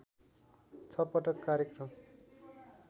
छ पटक कार्यक्रम